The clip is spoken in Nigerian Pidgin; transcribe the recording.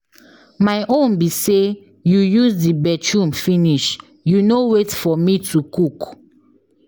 My own be say you use the bathroom finish you no wait for me to cook.